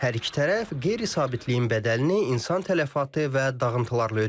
Hər iki tərəf qeyri-sabitliyin bədəlini insan tələfatı və dağıntılarla ödəyir.